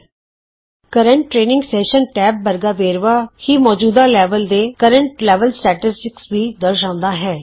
ਮੌਜੂਦਾ training session tab ਵਰਗਾ ਵੇਰਵਾ ਹੀ ਮੌਜੂਦਾ ਲੈਵਲ ਦੇ ਅੰਕੜੇ ਵੀ ਦਰਸਾਂਦਾ ਹੈ